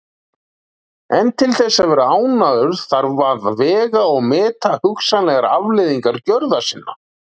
En til þess að vera ánægður þarf að vega og meta hugsanlegar afleiðingar gjörða sinna.